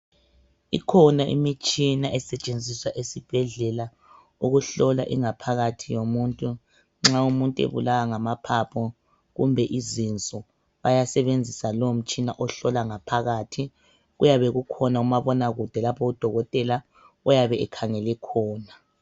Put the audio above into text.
Ikhona imitshina esetshenziswa esibhedlela ukuhlola ingaphakathi yomuntu. Nxa umuntu ebulawa ngamaphaphu kumbe izinso bayasebenzisa lo mtshina ohlola ngaphakathi kuyabe kukhona umabonakude lapho udokotela oyabe ekhangele khona.